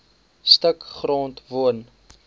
stuk grond woon